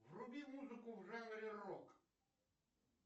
вруби музыку в жанре рок